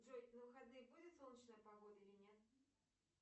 джой на выходные будет солнечная погода или нет